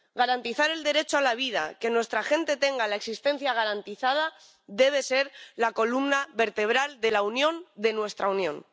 Garantizar el derecho a la vida, que nuestra gente tenga la existencia garantizada, debe ser la columna vertebral de la Unión, de nuestra Unión.